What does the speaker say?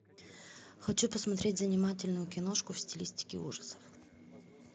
хочу посмотреть занимательную киношку в стилистике ужасов